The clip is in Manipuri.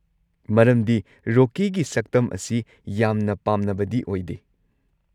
ꯃꯔꯝꯗꯤ ꯔꯣꯀꯤꯒꯤ ꯁꯛꯇꯝ ꯑꯁꯤ ꯌꯥꯝꯅ ꯄꯥꯝꯅꯕꯗꯤ ꯑꯣꯏꯗꯦ꯫